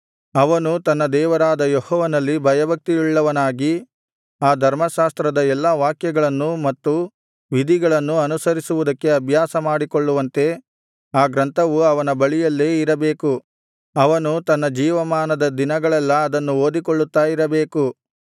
ಅವನು ತನ್ನ ದೇವರಾದ ಯೆಹೋವನಲ್ಲಿ ಭಯಭಕ್ತಿಯುಳ್ಳವನಾಗಿ ಆ ಧರ್ಮಶಾಸ್ತ್ರದ ಎಲ್ಲಾ ವಾಕ್ಯಗಳನ್ನೂ ಮತ್ತು ವಿಧಿಗಳನ್ನೂ ಅನುಸರಿಸುವುದಕ್ಕೆ ಅಭ್ಯಾಸಮಾಡಿಕೊಳ್ಳುವಂತೆ ಆ ಗ್ರಂಥವು ಅವನ ಬಳಿಯಲ್ಲೇ ಇರಬೇಕು ಅವನು ತನ್ನ ಜೀವಮಾನದ ದಿನಗಳೆಲ್ಲಾ ಅದನ್ನು ಓದಿಕೊಳ್ಳುತ್ತಾ ಇರಬೇಕು